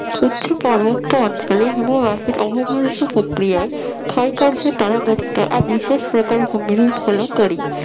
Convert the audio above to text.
উচ্চ পার্বত্য অঞ্চলে হিমবাহের প্রক্রিয়ায় ক্ষয়কার্য দ্বারা গঠিত এক বিশেষ প্রকার ভূমিরূপ হল করি